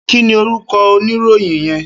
Kini órúkò óniróyìn yèn?